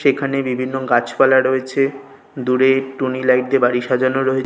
সেখানে বিভিন্ন গাছপালা রয়েছে দূরে টুনি লাইট দিয়ে বাড়ি সাজানো রয়ে --